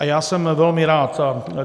A já jsem velmi rád.